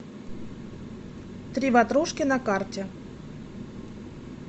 три ватрушки на карте